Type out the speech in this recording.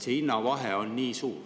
See hinnavahe on nii suur.